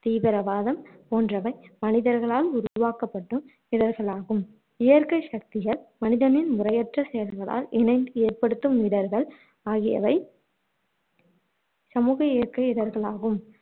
தீவிரவாதம் போன்றவை மனிதர்களால் உருவாக்கப்படும் இடர்களாகும். இயற்கை சக்திகள் மனிதனின் முறையற்ற செயல்களால் இணைந்து ஏற்படுத்தும் இடர்கள் ஆகியவை சமூக இயற்கை இடர்களாகும்